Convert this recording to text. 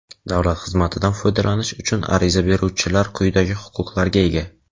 Davlat xizmatidan foydalanish uchun ariza beruvchilar quyidagi huquqlarga ega:.